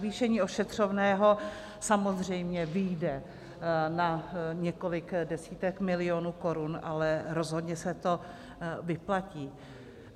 Navýšení ošetřovného samozřejmě vyjde na několik desítek milionů korun, ale rozhodně se to vyplatí.